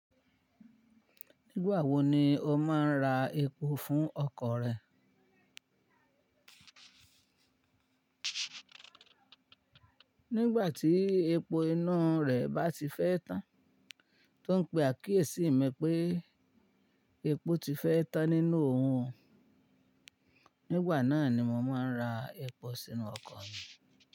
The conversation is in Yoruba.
Nígbà wo ni o máa ń ra epo fún ọkọ̀ rẹ? Nígbà tí epo inú rẹ̀ bá ti fẹ́ tán. Tó ń pé àkíyèsí mi pé epo ti fẹ́ tán nínú òun, nígbà náà ni mo máa ń ra epo sínú ọkọ̀ mi.